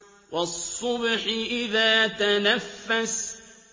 وَالصُّبْحِ إِذَا تَنَفَّسَ